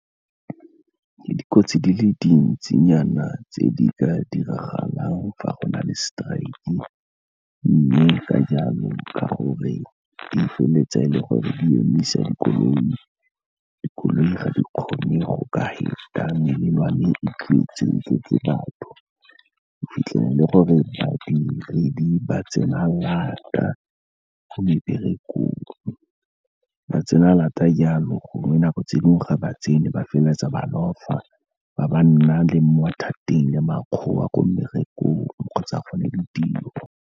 Ke dikotsi di le dintsinyana tse di ka diragalang fa go na le strike-e mme ka jalo, ka gore di feleletse e le gore di emisa dikoloi, dikoloi ga di kgone go ka feta melelwane e tletse . O fitlhele gore badiredi ba tsena lata ko meberekong, ba tsena lata jalo gongwe nako tse dingwe, ga ba tsene ba feleletsa ba lofa, ba nna le mo mathateng le makgowa ko mmerekong kgotsa gone ditiro.